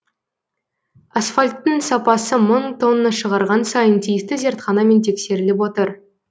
асфальттың сапасы мың тонна шығарған сайын тиісті зертханамен тексеріліп отыр